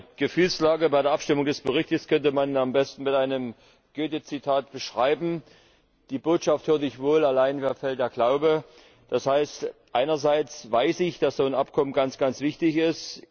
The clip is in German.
Meine Gefühlslage bei der Abstimmung über den Bericht könnte man am besten mit einem Goethe Zitat beschreiben Die Botschaft hör' ich wohl, allein mir fehlt der Glaube. Das heißt Einerseits weiß ich, dass so ein Abkommen ganz, ganz wichtig ist.